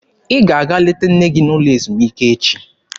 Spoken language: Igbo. Ị ga-aga leta nne gị n'ụlọ ezumike echi!